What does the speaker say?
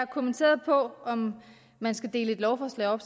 kommentere om man skal dele et lovforslag op